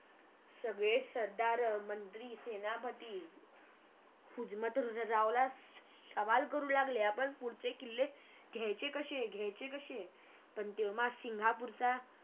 सगळे सरदार मंत्री सेनापति हुजमतरावला सवाल करू लागले आपण पुढचे किल्ले घ्यायचे कसे घ्यायचे कसे पण तेव्हा सिंगपूरचा